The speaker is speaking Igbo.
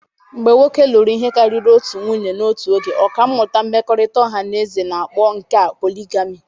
Mgbe nwoke lụrụ ihe karịrị otu nwunye n'otu oge, ọkà mmụta mmekọrịta ọha na eze na-akpọ nke a poligamị.